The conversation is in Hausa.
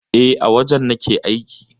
E, a wajen nake aiki.